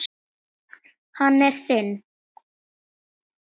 Hann er þinn.